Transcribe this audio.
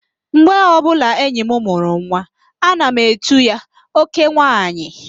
Mgbe ọbụla enyi m mụrụ nwa, ana m etu ya, "oke nwaanyị"